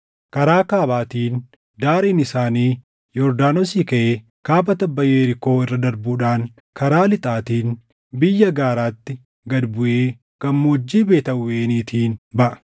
Karaa kaabaatiin daariin isaanii Yordaanosii kaʼee kaaba tabba Yerikoo irra darbuudhaan karaa lixaatiin biyya gaaraatti gad buʼee gammoojjii Beet Aawweniitiin baʼa.